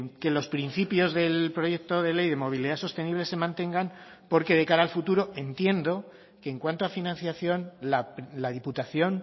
que los principios del proyecto de ley de movilidad sostenible se mantengan porque de cara al futuro entiendo que en cuanto a financiación la diputación